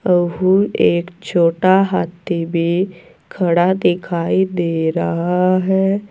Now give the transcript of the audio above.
एक छोटा हाथी भी खड़ा दिखाई दे रहा है।